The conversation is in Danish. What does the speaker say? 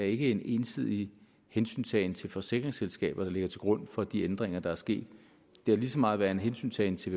ikke er en ensidig hensyntagen til forsikringsselskaberne der ligger til grund for de ændringer der er sket det har lige så meget været hensyntagen til